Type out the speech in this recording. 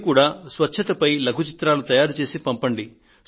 మీరు కూడా స్వచ్ఛతపై లఘు చిత్రాలను తయారుచేసి పంపండి